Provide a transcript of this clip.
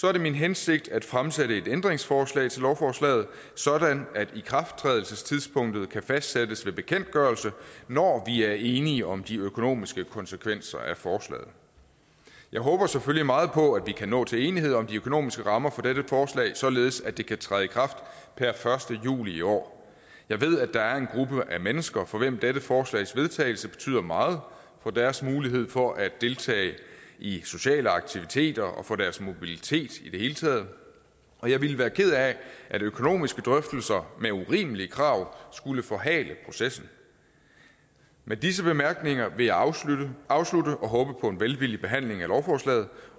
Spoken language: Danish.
er det min hensigt at fremsætte et ændringsforslag til lovforslaget sådan at ikrafttrædelsestidspunktet kan fastsættes ved bekendtgørelse når vi er enige om de økonomiske konsekvenser af forslaget jeg håber selvfølgelig meget på at vi kan nå til enighed om de økonomiske rammer for dette forslag således at det kan træde i kraft per første juli i år jeg ved at der er en gruppe af mennesker for hvem dette forslags vedtagelse betyder meget for deres mulighed for at deltage i sociale aktiviteter og for deres mobilitet i det hele taget og jeg ville være ked af at økonomiske drøftelser med urimelige krav skulle forhale processen med disse bemærkninger vil jeg afslutte afslutte og håbe på en velvillig behandling af lovforslaget